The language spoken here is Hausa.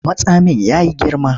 Matsamin ya yi girma.